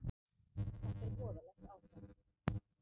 Þetta er voðalegt ástand.